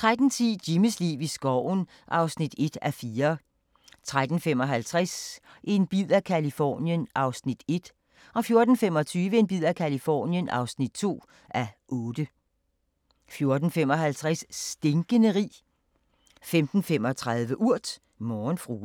13:10: Jimmys liv i skoven (1:4) 13:55: En bid af Californien (1:8) 14:25: En bid af Californien (2:8) 14:55: Stinkende rig 15:35: Urt: Morgenfrue